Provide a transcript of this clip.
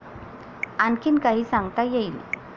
'आणखीन काही सांगता येईल?